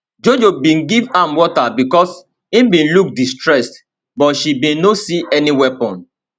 jojo bin give am water becos im bin look distressed but she bin no see any weapon